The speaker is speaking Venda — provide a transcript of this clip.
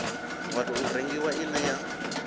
wa tou rengiwa ine ya